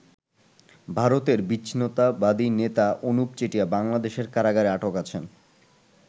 ভারতের বিচ্ছিন্নতাবাদী নেতা অনুপ চেটিয়া বাংলাদেশের কারাগারে আটক আছেন।